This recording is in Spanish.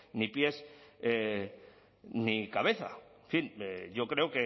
ni pies ni cabeza en fin yo creo